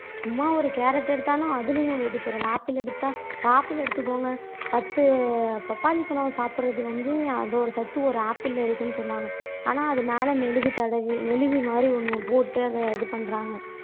சும்மா ஒரு கேரட் எடுத்தாலும் அதுலயும் வேதிப்பொருள் ஆப்பிள் எடுத்தா ஆப்பிள் எடுத்துக்கோங்க பத்து பப்பாளி பழம் சாப்பிடுறது வந்து அதோட சத்து ஒரு ஆப்பிள்ல இருக்குன்னு சொன்னாங்க. ஆனா அது மேல மெழுகு தடவி மெழுகு மாதிரி ஒண்ணு போட்டு அத இது பண்றாங்க